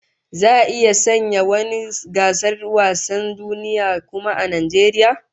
Za'a iya sanya wani gasar wasan duniya kuwa a Najeriya?